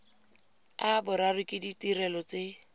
a boraro ke ditirelo tse